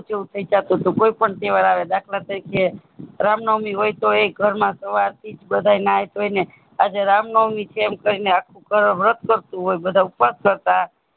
જો થઈ જાતું તું કોઈ પણ તહેવાર આવે દાખલા તરીકે રામનવમી તોય ઘરમાં સાવરથી જ બધા નાઈ ધોઈયે ને આજે રામનવમી છે એમ કહીને આખું ઘર વ્રત કરતુ હોય બધા ઉપવાસ કરતા